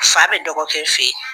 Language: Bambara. Fa bɛ dɔgɔ kɛ fɛ yen.